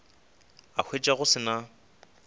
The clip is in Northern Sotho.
a hwetša go se na